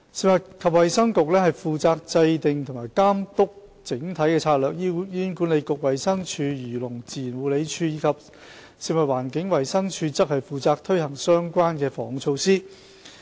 食物及衞生局負責制訂和監督整體策略，醫院管理局、衞生署、漁農自然護理署及食物環境衞生署則負責推行相關的防控措施。